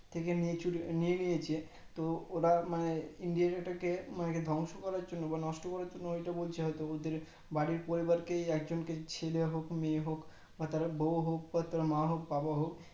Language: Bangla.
থেকে নিয়ে নিয়ে নিয়েছে তো ওরা India টাকে মানে ধ্বংস করার জন্য বা নষ্ট করার জন্য হয় তো বলছে হয় তো ওদের বাড়ির পরিবারকে একজন কে ছেলে হোক মেয়ে বা তার বউ হোক বা তার মা হোক বাবা হোক